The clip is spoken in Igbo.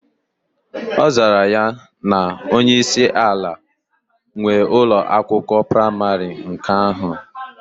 Ozara ya na onye isi ala nwe Ụlọ akwụkwọ praịmarị nke ahu.